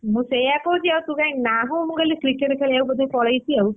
ମୁଁ ସେୟା କହୁଛି ଆଉ ତୁ କାଇଁ ନାହୁ ମୁଁ କହିଲି cricket ଖେଳିବାକୁ ବୋଧେ ପଳେଇଛି ଆଉ,